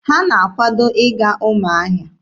Ha na-akwado ịga Ụmụahịa.